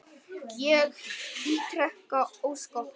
Ég ítreka ósk okkar.